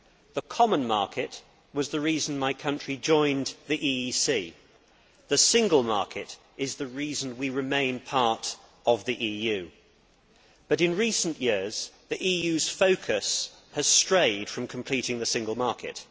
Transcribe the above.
The common market was the reason my country joined the EEC, and the Single Market is the reason we remain part of the EU, but in recent years, the EU's focus has strayed from completing the Single Market.